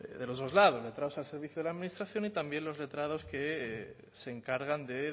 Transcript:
de los dos lados letrados al servicio de la administración y también los letrados que se encargan de